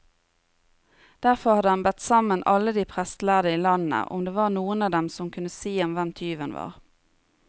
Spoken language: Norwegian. Derfor hadde han bedt sammen alle de prestlærde i landet, om det var noen av dem som kunne si ham hvem tyven var.